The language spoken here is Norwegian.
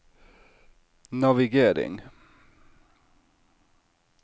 navigering